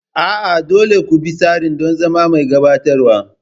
A'a, dole ne ku bi tsari don zama mai gabatarwa.